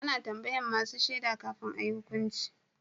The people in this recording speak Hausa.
A na tambayan masu shaida kafin a yi hukunci